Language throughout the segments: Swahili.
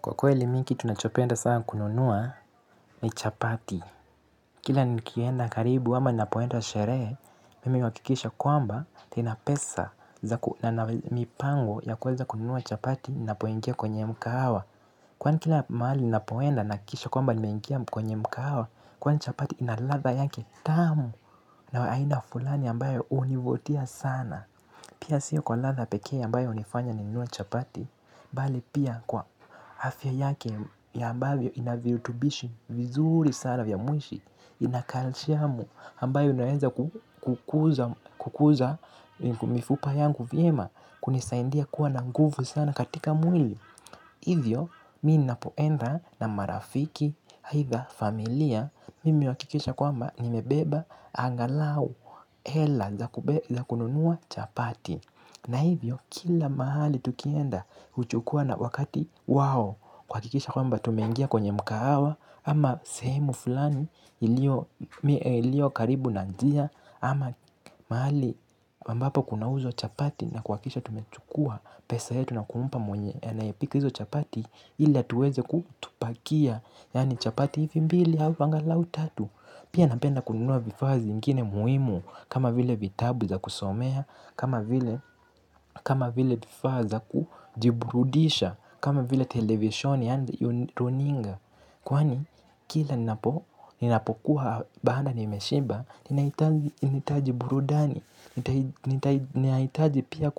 Kwa kweli mimi kitu nachopenda sana kununua ni chapati. Kila nikienda karibu ama ninapoenda sherehe, mimi huwakikisha kwamba ninapesa na mipango ya kuweza kununua chapati ninapoingia kwenye mkahawa. Kwani kila mahali ninapoenda nahakikisha kwamba nimeingia kwenye mkahawa, kwani chapati ina ladha yake tamu na aina fulani ambayo hunivutia sana. Pia siyo kwa ladha pekee ambayo hunifanya n nunue chapati, bali pia kwa afya yake ya ambavyo inavirutubishi vizuri sana vya mwishi ina kalishiamu ambayo unaeza kukuza mifupa yangu vyema kunisaindia kuwa na nguvu sana katika mwili hivyo mimi ninapoenda na marafiki aitha familia mimi huakikisha kwamba nimebeba angalau hela za kununua chapati. Na hivyo kila mahali tukienda, huchukua na wakati wao kuhakikisha kwamba tumeingia kwenye mkahawa, ama sehemu fulani ilio karibu na njia, ama mahali ambapo kunauzwa chapati na kuhakikisha tumechukua pesa yetu na kumpa mwenye anayepika hizo chapati, ili atueze kutupakia, yaani chapati hivi mbili au anglau tatu. Pia napenda kununua vifaa zingine muhimu kama vile vitabu za kusomea, kama vile vifaa za kujiburudisha, kama vile televisheni and runinga. Kwani kila ninapokuwa bana nimeshiba, ninahitaji burudani, ninahitaji pia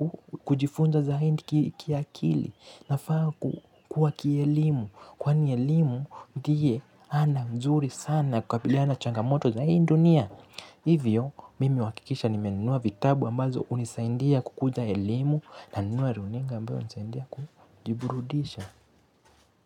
kujifunza zaidi kiakili, nafaa kukua kielimu, kwani elimu ndiye ana nzuri sana kukabiliana na changamoto za hii dunia. Hivyo, mimi huakikisha nimenunua vitabu ambazo hunisaidia kukuza elimu nanunua runinga ambayo hunisaindia kujiburudisha.